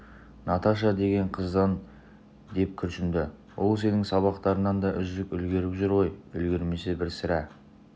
наташа деген қыздан деп күрсінді ол сенің сабақтарыңнан да үздік үлгеріп жүр ғой үлгермесе бір сәрі